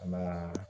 An ka